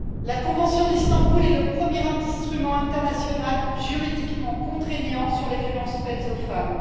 La convention d'Istanbul est le premier instrument international juridiquement contraignant sur les violences faites aux femmes.